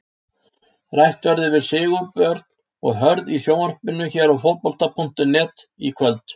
Rætt verður við Sigurbjörn og Hörð í sjónvarpinu hér á Fótbolta.net í kvöld.